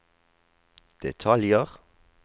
detaljer